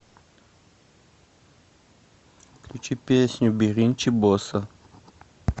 включи песню биринчи боса